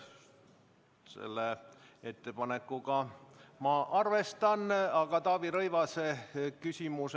Seda ettepanekut ma arvestan, aga enne tuleb Taavi Rõivase küsimus.